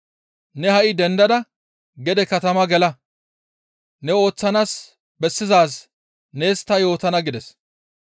Ne ha7i dendada gede katama gela; ne ooththanaas bessizaaz nees ta yootana» gides.